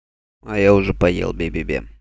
а я уже поел бе-бе-бе